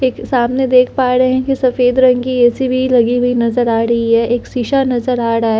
एक सामने देख पा रहे हैं कि सफेद रंग की ए_सी भी लगी हुई नजर आ रही है एक शीशा नजर आ रहा है।